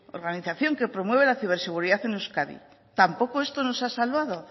organización que promueve la ciberseguridad en euskadi tampoco esto nos ha salvado